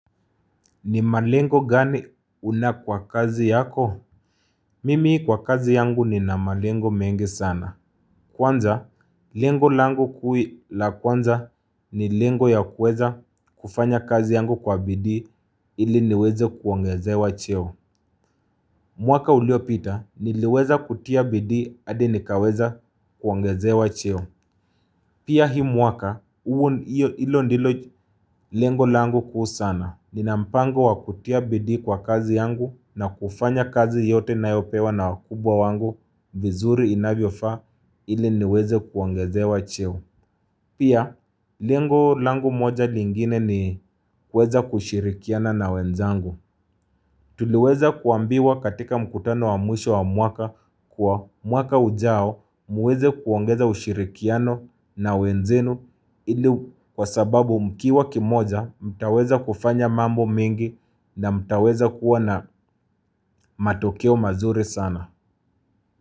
Ni malengo gani una kwa kazi yako? Mimi kwa kazi yangu nina malengo mengi sana. Kwanza, lengo langu kuu la kwanza ni lengo ya kuweza kufanya kazi yangu kwa bidii ili niweze kuongezewa cheo. Mwaka uliopita, niliweza kutia bidii hadi nikaweza kuongezewa cheo. Pia hii mwaka, huo hilo ndilo lengo langu kuhu sana. Nina mpango wa kutia bidii kwa kazi yangu na kufanya kazi yote ninayopewa na wakubwa wangu vizuri inavyofaa ili niweze kuongezewa cheo. Pia, lengo langu moja lingine ni kuweza kushirikiana na wenzangu. Tuliweza kuambiwa katika mkutano wa mwisho wa mwaka kuwa mwaka ujao muweze kuongeza ushirikiano na wenzenu ili kwa sababu mkiwa kimoja mtaweza kufanya mambo mingi na mtaweza kuwa na matokeo mazuri sana.